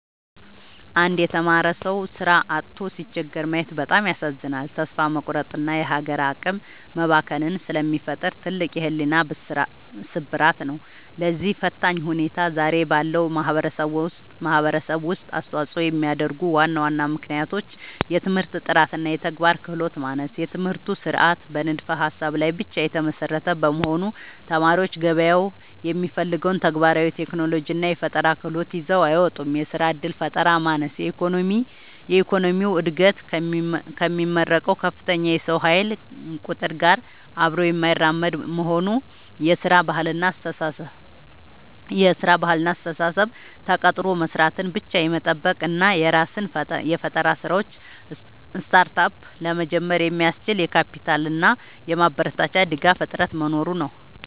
አንድ የተማረ ሰው ሥራ አጥቶ ሲቸገር ማየት በጣም ያሳዝናል፤ ተስፋ መቁረጥንና የሀገር አቅም መባከንን ስለሚፈጥር ትልቅ የሕሊና ስብራት ነው። ለዚህ ፈታኝ ሁኔታ ዛሬ ባለው ማኅበረሰብ ውስጥ አስተዋፅኦ የሚያደርጉ ዋና ዋና ምክንያቶች፦ የትምህርት ጥራትና የተግባር ክህሎት ማነስ፦ የትምህርት ሥርዓቱ በንድፈ-ሀሳብ ላይ ብቻ የተመሰረተ በመሆኑ፣ ተማሪዎች ገበያው የሚፈልገውን ተግባራዊ የቴክኖሎጂና የፈጠራ ክህሎት ይዘው አይወጡም። የሥራ ዕድል ፈጠራ ማነስ፦ የኢኮኖሚው ዕድገት ከሚመረቀው ከፍተኛ የሰው ኃይል ቁጥር ጋር አብሮ የማይራመድ መሆኑ። የሥራ ባህልና አስተሳሰብ፦ ተቀጥሮ መሥራትን ብቻ የመጠበቅ እና የራስን የፈጠራ ሥራዎች (Startup) ለመጀመር የሚያስችል የካፒታልና የማበረታቻ ድጋፍ እጥረት መኖሩ ነው።